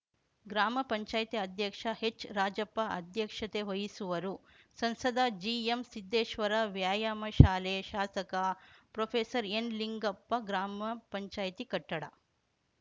ಗ್ರಾಮ ಪಂಚಾಯತಿ ಅಧ್ಯಕ್ಷ ಹೆಚ್‌ರಾಜಪ್ಪ ಅಧ್ಯಕ್ಷತೆ ವಹಿಸುವರು ಸಂಸದ ಜಿಎಂ ಸಿದ್ದೇಶ್ವರ ವ್ಯಾಯಾಮ ಶಾಲೆ ಶಾಸಕ ಪ್ರೊಫೆಸರ್ಎನ್‌ಲಿಂಗಪ್ಪ ಗ್ರಾಮ ಪಂಚಾಯತಿ ಕಟ್ಟಡ